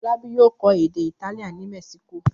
Fọlábí yóò kọ́ èdè Italian ní Mexico.